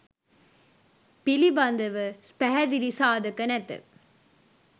පිළිබඳව පැහැදිලි සාධක නැත.